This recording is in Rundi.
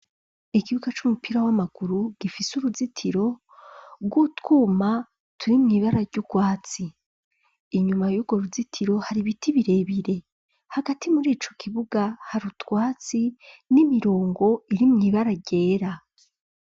Ikibuga c'umupira w'amaguru gifise uruzitiro rwo twuma turi mw'ibara ry'urwatsi inyuma yurwo ruzitiro hari biti birebire hagati murico kibuga hari utwatsi n'imirongo iri mw'ibara ryera.